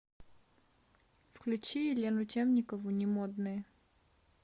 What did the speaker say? включи елену темникову не модные